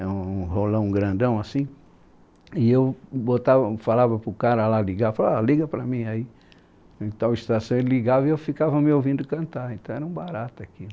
É um rolão grandão assim, e eu botava falava para o cara lá ligar, falava, liga para mim aí, em tal estação, ele ligava e eu ficava me ouvindo cantar, então era um barato aquilo.